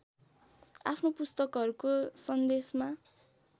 आफ्नो पुस्तकहरूको सन्देशमा